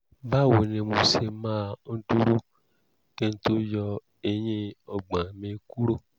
báwo ni mo ṣe máa ń dúró kí n tó yọ eyín ọgbọ́n mi kúrò?